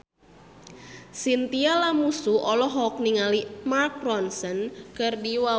Chintya Lamusu olohok ningali Mark Ronson keur diwawancara